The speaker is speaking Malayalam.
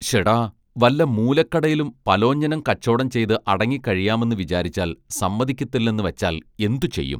ശ്ശെടാ വല്ല മൂലക്കടയിലും പലോഞ്ഞനം കച്ചോടം ചെയ്ത് അടങ്ങിക്കഴിയാമെന്ന് വിചാരിച്ചാൽ സമ്മതിക്കത്തില്ലെന്ന് വച്ചാൽ എന്തു ചെയ്യും